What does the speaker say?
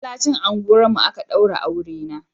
A masallacin unguwar mu a ka daure aure na